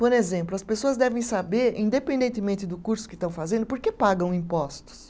Por exemplo, as pessoas devem saber, independentemente do curso que estão fazendo, por que pagam impostos?